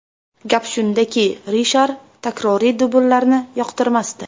Gap shundaki, Rishar takroriy dubllarni yoqtirmasdi.